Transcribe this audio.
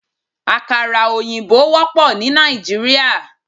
Àkàrà òyìnbó wópò ní Nàìjíríà